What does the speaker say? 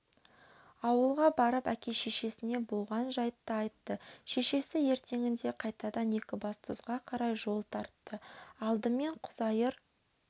ауылға барып әке-шешесіне болған жайтты айтты шешесі ертеңінде қайтадан екібастұзға қарай жол тартты алдымен құзайыр